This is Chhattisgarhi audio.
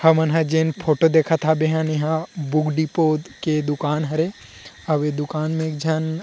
हमन ह जेन फोटो देखत हब एहा बुक डिपो के दुकान हरे अउ ए दुकान में एक झन --